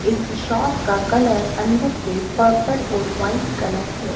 इस शॉप का कलर अंदर से पर्पल और व्हाइट कलर है।